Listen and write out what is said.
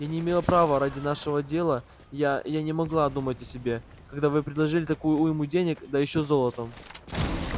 я не имела права ради нашего дела я я не могла думать о себе когда вы предложили такую уйму денег да ещё золотом